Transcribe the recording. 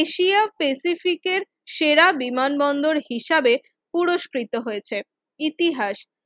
এশিয়ার স্পেসিফিকের সেরা বিমানবন্দর হিসাবে পুরস্কৃত হয়েছে ইতিহাস